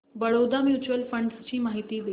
Baroda mutual fund ची माहिती दे